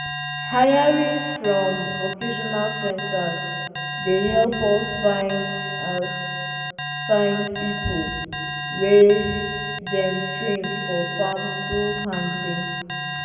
hiring from vocational centres dey help us find us find people wey dem train for farm tool handling.